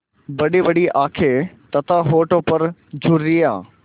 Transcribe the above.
बड़ीबड़ी आँखें तथा होठों पर झुर्रियाँ